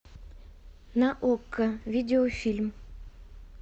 на окко видеофильм